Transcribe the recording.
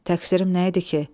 Təqsirim nə idi ki?